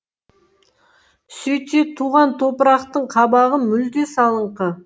сөйтсе туған топырақтың қабағы мүлде салыңқы